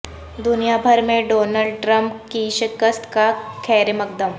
دنیا بھر میں ڈونالڈ ٹرمپ کی شکست کا خیرمقدم